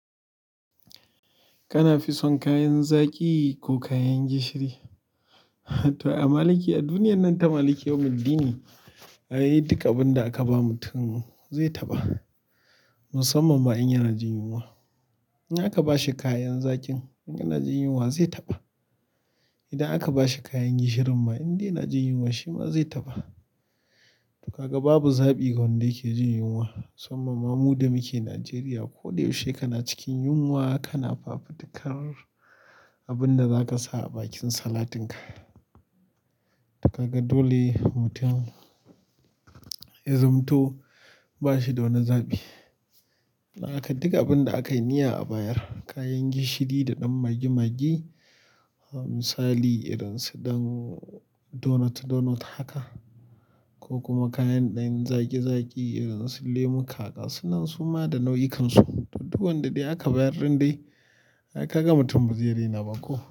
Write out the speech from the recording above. Kana fi son kayan zaki ko kayan gishiri? To, a maliki a duniyan nan ta maliki yau muddini ne, ai duk abin da aka ba mutum zai taɓa, musamman ma in yana jin yunwa, in aka bashi kayan zakin in yana jin yunwa zai taɓa, idan aka bashi kayan gishirin ma in dai yana jin yunwa shi ma zai taɓa, kaga babu zaɓi ga wanda yake jin yunwa, musamman ma mu da muke Nigeria koda yaushe kana cikin yunwa kana fafutuka abun da zaka sa a bakin salatin ka, to kaga dole mutum, ya zamto bashi da wani zaɓi. Dan haka duk abin da aka yi niyya a bayar, kayan gishiri da ɗan magi-magi, misali irin su ɗan donut-donut haka, ko kuma kayan ɗan zaki-zaki irin su lemuka gasunan su ma da nau'ikansu, duk wanda dai aka bayar rin dai ai kaga mutun ba zai rena ba ko,